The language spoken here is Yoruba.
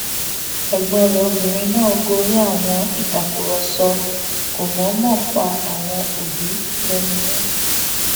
ẹgbọn rẹ obìnrin náà gorí àwọn ìtàkùrọsọ kò mọọmọ pa àwọn òbí lẹnu mọ